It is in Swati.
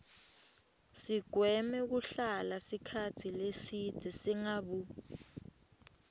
sigweme kuhlala sikhatsi lesibze singabu